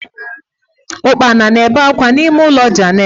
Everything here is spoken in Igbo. Ụkpana na-ebe ákwá n'ihu ụlọ Jenet.